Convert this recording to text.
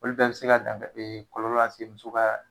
Olu bɛɛ bɛ se ka dan kɔlɔlɔ lase muso ka